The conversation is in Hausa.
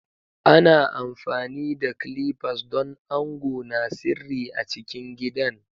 Ana amfani da clippers don ango na sirri a cikin gidan.